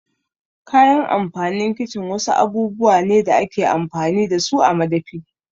Kayan amfanin kicin wasu abubuwa ne da ake amfani dasu a madafi.